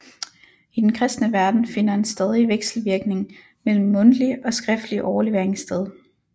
I den kristne verden finder en stadig vekselvirkning mellem mundtlig og skriftlig overlevering sted